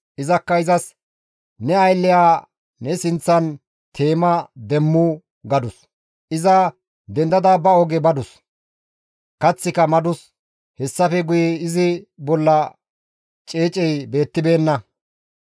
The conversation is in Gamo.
Izakka izas, «Ne aylleya ne sinththan teema demmu!» gadus. Iza dendada ba oge badus; kaththika madus; hessafe guye izi bolla ceecey beettibeenna.